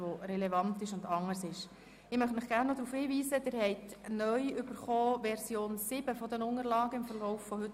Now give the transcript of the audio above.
Ich weise Sie darauf hin, dass Sie im Verlauf des heutigen Vormittags die neue Version 7 des Geschäfts ausgeteilt erhalten haben.